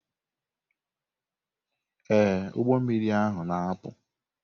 Ee, ụgbọ mmiri ahụ na-apụ.